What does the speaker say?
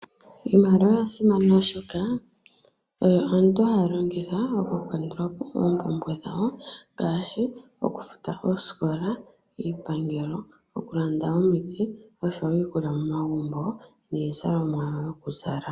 Iimaliwa oya simana oshoka, oyo aantu haya longitha oku kandulapo oompumbwe dhawo ngaashi, oku futa oosikola, iipangelo, okulanda omiti nosho wo iikulya momagumbo niizalomwa yoku zala.